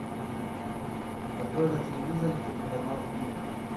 открой на телевизоре телеканал ник